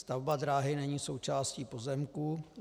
Stavba dráhy není součástí pozemku.